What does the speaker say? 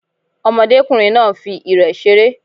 Ọmọdékùnrin náà nfi ìrẹ̀ seré